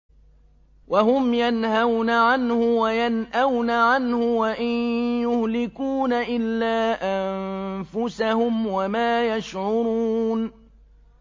وَهُمْ يَنْهَوْنَ عَنْهُ وَيَنْأَوْنَ عَنْهُ ۖ وَإِن يُهْلِكُونَ إِلَّا أَنفُسَهُمْ وَمَا يَشْعُرُونَ